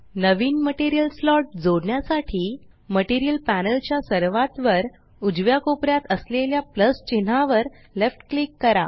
नवीन material slot जोडण्यासाठी material panel च्या सर्वात वर उजव्या कोपऱ्यात असलेल्या प्लस चिन्हावर लेफ्ट क्लिक करा